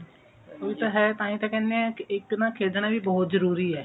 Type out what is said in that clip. ਉਹੀ ਤਾਂ ਹੈ ਤਾਹਿ ਤਾਂ ਕਹਿੰਦੇ ਐ ਕਿ ਇੱਕ ਨਾ ਖੇਡਣਾ ਵੀ ਬਹੁਤ ਜਰੂਰੀ ਐ